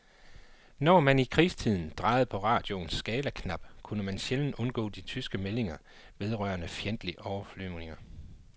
Når man i krigstiden drejede på radioens skalaknap, kunne man sjældent undgå de tyske meldinger vedrørende fjendtlige overflyvninger.